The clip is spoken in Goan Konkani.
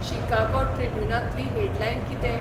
शिकागो ट्रिब्युनांतली हेडलायन कितें